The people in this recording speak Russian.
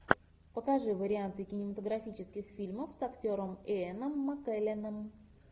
покажи варианты кинематографических фильмов с актером иэном маккелленом